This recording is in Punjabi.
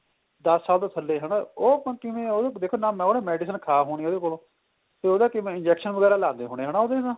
ਦੱਸ ਸਾਲ ਤੋਂ ਥਲੇ ਹਨਾ ਉਹ ਆਪਾਂ ਨੂੰ ਕਿਵੇਂ ਦੇਖੋ ਨੇ ਉਹਨੇ medicine ਖਾ ਹੋਣੀ ਉਹਦੇ ਕੋਲੋ ਤੇ ਉਹਦਾ ਕਿਵੇਂ injection ਵਗੈਰਾ ਲੱਗਦੇ ਹੋਣੇ ਉਹਦੇ ਨਾ